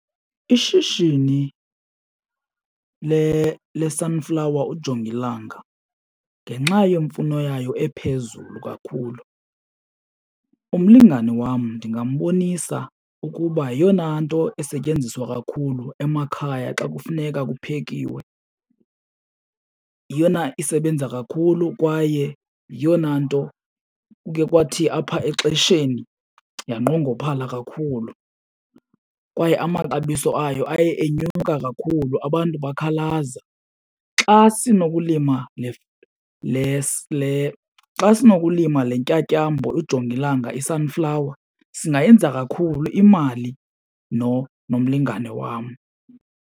Ishishini le-sunflower ujongilanga, ngenxa yemfuno yayo ephezulu kakhulu umlingane wam ndingambonisa ukuba yeyona nto esetyenziswa kakhulu emakhaya xa kufuneka kuphekiwe. Yeyona isebenza kakhulu kwaye yiyona nto kukhe kwathi apha exesheni yanqongophala kakhulu kwaye amaxabiso ayo aye enyuka kakhulu abantu bakhalaza. Xa sinokulima , xa sinokulima le ntyatyambo ujongilanga i-sunflower singayenza kakhulu imali nomlingane wam.